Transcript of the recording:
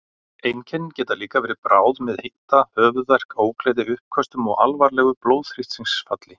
Einkennin geta líka verið bráð með hita, höfuðverk, ógleði, uppköstum og alvarlegu blóðþrýstingsfalli.